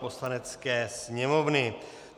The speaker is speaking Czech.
Poslanecké sněmovny